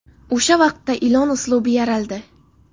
O‘sha vaqtda ilon uslubi yaraldi.